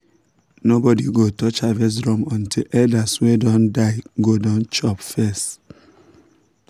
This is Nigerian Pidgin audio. nobody go touch harvest drum until elders wey don die go don chop first.